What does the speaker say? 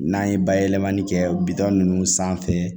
N'an ye bayɛlɛmani kɛ bitɔn ninnu sanfɛ